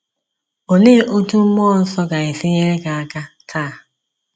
Olee otú mmụọ nsọ ga-esi nyere anyị aka taa?